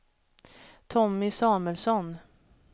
Tommy Samuelsson